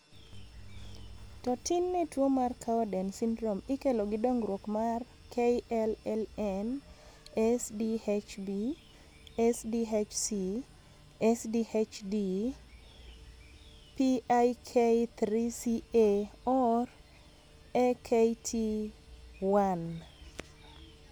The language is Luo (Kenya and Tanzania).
To tin ne tuo mar Cowden syndrome ikelo gi dongruok mar KLLN, SDHB, SDHC, SDHD, PIK3CA or AKT1.